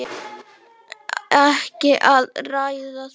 Ekki að ræða það!